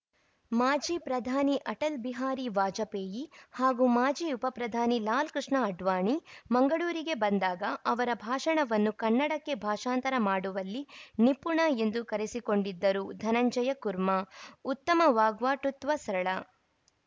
ಮಾಜಿ ಪ್ರಧಾನಿ ಅಟಲ್‌ ಬಿಹಾರಿ ವಾಜಪೇಯಿ ಹಾಗೂ ಮಾಜಿ ಉಪಪ್ರಧಾನಿ ಲಾಲ್‌ಕೃಷ್ಣ ಅಡ್ವಾಣಿ ಮಂಗಳೂರಿಗೆ ಬಂದಾಗ ಅವರ ಭಾಷಣವನ್ನು ಕನ್ನಡಕ್ಕೆ ಭಾಷಾಂತರ ಮಾಡುವಲ್ಲಿ ನಿಪುಣ ಎಂದು ಕರೆಸಿಕೊಂಡಿದ್ದರು ಧನಂಜಯ ಕುರ್ಮ ಉತ್ತಮ ವಾಗ್ಪಟುತ್ವ ಸರಳ